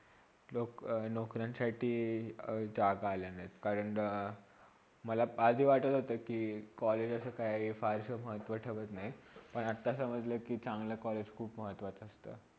नोक नोकरांसाठी जाग आलेला आहे कारण मला आधी वाटत होता कि college असा काही फार महत्व ठेवत नाही पण आता समजला कि चांगला college खूप महत्वाच असत.